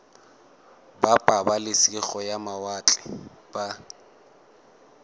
ba pabalesego ya mawatle ba